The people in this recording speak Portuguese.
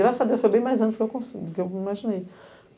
Graças a Deus foi bem mais antes do que eu consegui, do que eu imaginei.